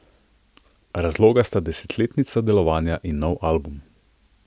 Razloga sta desetletnica delovanja in nov album.